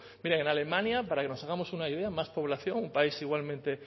miren en alemania para que nos hagamos una idea más población un país igualmente